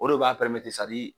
O de b'a pɛrɛmete